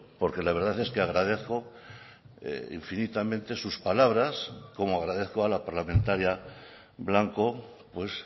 porque la verdad es que agradezco infinitamente sus palabras como agradezco a la parlamentaria blanco pues